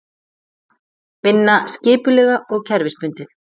Vinna skipulega og kerfisbundið.